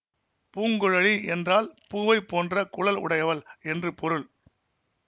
பூங்குழலி என்றால் பூவைப் போன்ற குழல் உடையவள் என்று பொருள்